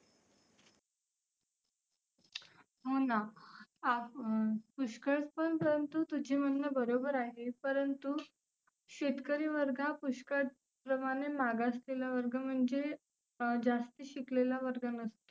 हो ना आपन पुष्कळ पण परंतु तुझे म्हणने बरोबर आहे परंतु शेतकरी वर्ग हा पुष्कळ प्रमाणे मागासलेला वर्ग म्हणजे जास्ती शिकलेला वर्ग नसतो.